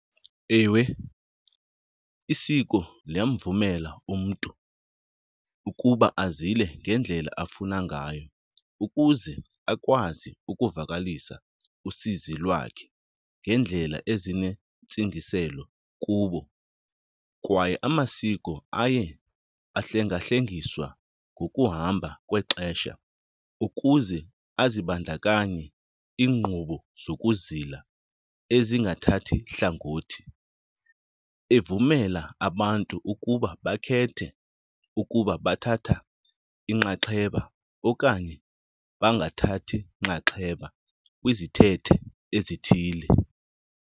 Ewe, isiko liyamvumela umntu ukuba azile ngendlela afuna ngayo ukuze akwazi ukuvakalisa usizi lwakhe ngeendlela ezinentsingiselo kubo. Kwaye amasiko aye ahlengahlengiswa ngokuhamba kwexesha ukuze azibandakanye iinkqubo zokuzila ezingathathi hlangothi, evumela abantu ukuba bakhethe ukuba bathatha inxaxheba okanye bangathathi nxaxheba kwizithethe ezithile.